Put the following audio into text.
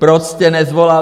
Proč jste nesvolal